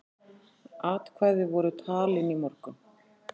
Atkvæði voru talin í morgun.